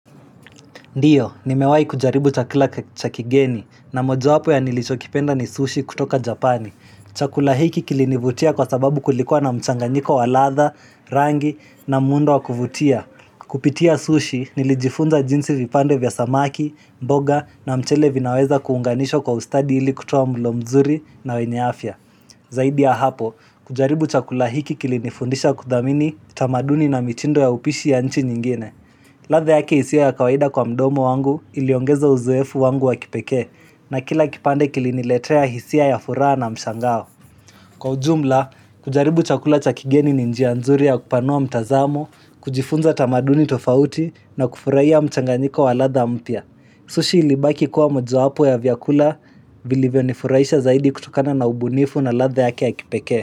Ndiyo, nimewahi kujaribu chakula cha kigeni na mojawapo ya nilichokipenda ni sushi kutoka Japani. Chakula hiki kilinivutia kwa sababu kulikuwa na mchanganyiko wa latha, rangi na muundo wa kuvutia. Kupitia sushi nilijifunza jinsi vipande vya samaki, mboga na mchele vinaweza kuunganishwa kwa ustadi ili kutoa mlo mzuri na weny afya. Zaidi ya hapo, kujaribu chakula hiki kilinifundisha kuthamini, tamaduni na mitindo ya upishi ya nchi nyingine. Ladha yake isiyo ya kawaida kwa mdomo wangu iliongeza uzoefu wangu wa kipekee na kila kipande kiliniletea hisia ya furaha na mshangao. Kwa ujumla, kujaribu chakula cha kigeni ni njia nzuri ya kupanua mtazamo, kujifunza tamaduni tofauti na kufurahia mchanganyiko wa ladha mpya. Sushi ilibaki kuwa mojowapo ya vyakula vilivyonifurahisha zaidi kutokana na ubunifu na ladha yake ya kipekee.